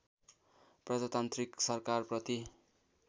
प्रजातान्त्रिक सरकारप्रति